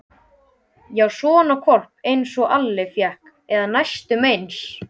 Já, svona hvolp einsog Alli fékk, eða næstum eins.